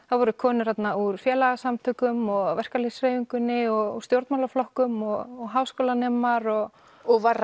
það voru konur þarna úr félagasamtökum og verkalýðshreyfingunni og stjórnmálaflokkum og háskólanemar og og var